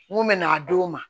N ko mɛ n'a d'o ma